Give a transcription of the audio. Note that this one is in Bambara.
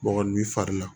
Bɔgɔ ni fari la